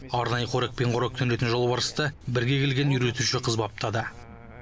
арнайы қорекпен қоректенетін жолбарысты бірге келген үйретуші қыз баптады